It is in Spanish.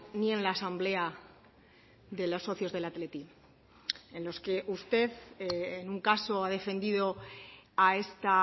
ni en la asamblea de los socios del athletic en los que usted en un caso ha defendido a esta